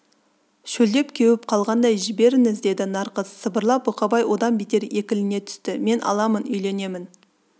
шөлдеп кеуіп қалғандай жіберіңіз деді нарқыз сыбырлап бұқабай одан бетер екілене түсті мен аламын үйленемін